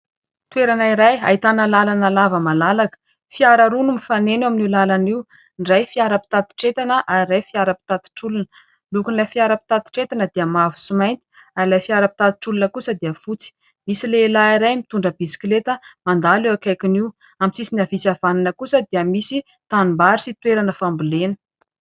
Toerana iray ahitana lalana lava malalaka fiara roa no mifanena eo amin'io lalana io. Ny iray fiara pitatitr'entana ary ny iray fiara pitatitr'olona ny lokon'ilay fiara pitatitr'entana dia mavo sy mainty ary ilay fiara pitatitr'olona kosa dia fotsy, misy lehilahy iray mitondra bisikileta mandalo eo akaikiny io, amin'ny sisiny havia sy havanana kosa dia misy tanimbary sy toerana fambolena.